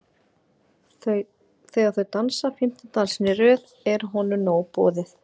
Þegar þau dansa fimmta dansinn í röð er honum nóg boðið.